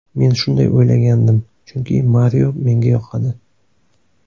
Men shunday o‘ylagandim, chunki Mario menga yoqadi.